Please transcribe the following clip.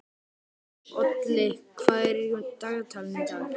Olli, hvað er í dagatalinu í dag?